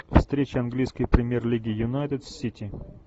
встреча английской премьер лиги юнайтед с сити